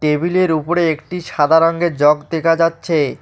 টেবিলের উপরে একটি সাদা রঙের জগ দেখা যাচ্ছে।